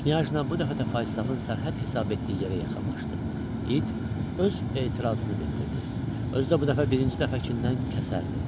Knyajna bu dəfə də Faustafın sərhəd hesab etdiyi yerə yaxınlaşdı, it öz etirazını bildirdi, özü də bu dəfə birinci dəfəkindən kəsərli.